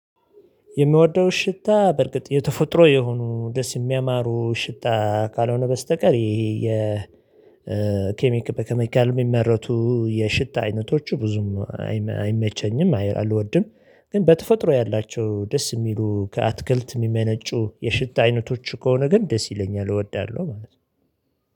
የምወደው ሽታ በርግጥ የተፈጥሮ የሆኑ ደስ የሚያማሩ ሽታ ካልሆነ በስተቀር ይሄ የ የኬሚክ በኬሚካል የሚመረቱ የሽታ አይነቶቹ ብዙም አይመቸኝም አይአልወድም። ግን በተፈጥሮ ያላቸው ደስ የሚሉ ከአትክልት የሚመነጩ የሽታ አይነቶች ከሆነ ግን ደስ ይለኛል እወዳለሁ ማለት ነው